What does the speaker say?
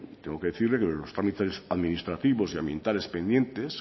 tengo que decirle que los trámites administrativos y ambientales pendientes